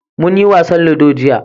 mun yi wasan ludo jiya